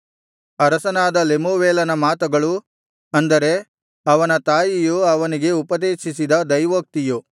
ಅರಸನಾದ ಲೆಮೂವೇಲನ ಮಾತುಗಳು ಅಂದರೆ ಅವನ ತಾಯಿಯು ಅವನಿಗೆ ಉಪದೇಶಿಸಿದ ದೈವೋಕ್ತಿಯು